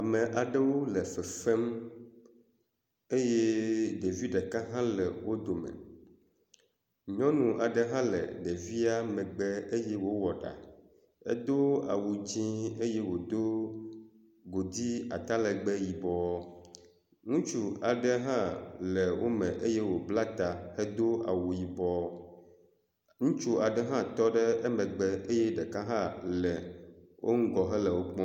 Ame aɖewo le fefem eye ɖevi ɖeka hã le wo dome, nyɔnu aɖe hã le ɖevia megbe eye wòwɔ ɖa, edo awu dzɛ̃ eye wòdo godui atalegbe yibɔ. Ŋutsu aɖe hã le wo me eye wòbla ta hedo awu yibɔ, ŋutsu aɖe hã tɔ ɖe emegbe eye ɖeka hã le wo ŋgɔ hele wo kpɔm…